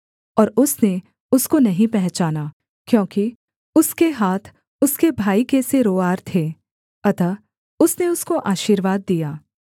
और उसने उसको नहीं पहचाना क्योंकि उसके हाथ उसके भाई के से रोंआर थे अतः उसने उसको आशीर्वाद दिया